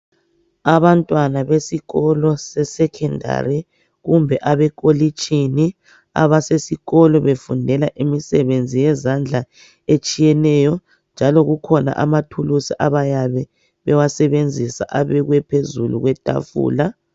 Abantwana besikolo se sekhondari, kumbe abekolitshini, abasesikolo befundela imisebenzi yezandla etshiyeneyo, njalo kukhona amathulusi abayabe bewasebenzisa abekwe phezulu kwetafula.